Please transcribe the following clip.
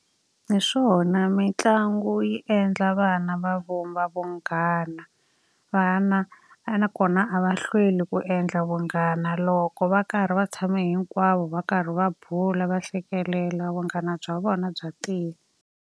Hi swona mitlangu yi endla vana va vumba vunghana. Vana a na ko na a va hlweli ku endla vunghana. Loko va karhi va tshame hinkwavo va karhi va bula va hlekelela vunghana bya vona bya tiya.